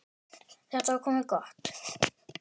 Þetta var komið gott.